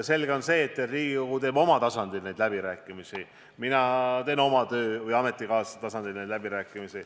Selge on see, et Riigikogu peab neid läbirääkimisi oma tasandil ning mina pean neid läbirääkimisi oma töö- või ametikaaslaste tasandil.